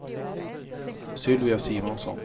Sylvia Simonsson